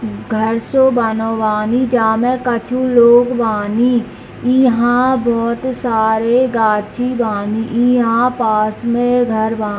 घर से बागवानी जामे कुछु लोग बानी इहाँ बहुत सारे गाछी बानी इहाँ पास में घर बा।